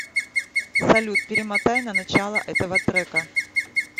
салют перемотай на начало этого трека